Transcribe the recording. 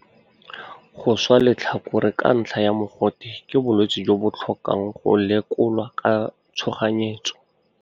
Go swa letlhakore ka ntlha ya mogote ke bolwetse jo bo tlhokang go lekolwa ka tshoganyetso.